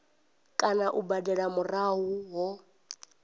kana u badela murahu ho